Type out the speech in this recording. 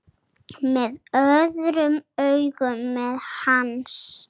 Með öðrum augum en hans.